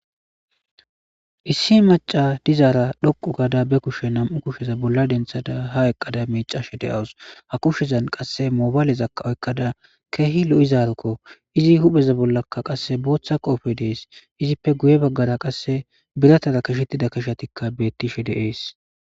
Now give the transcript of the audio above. Issi machasa dizara dhoqu gada ba kushe nam'u kusheta bolla dentida ha eqqada michashe de'awsu. Ha kushezan qassi mobalezaka oyiqada keehi lo'izaroko. Izi hupeza bollika qassi issi boththa qoobe dees. Ippe guye bagaraka qassi biratara qashetida qashetika beettishe dees.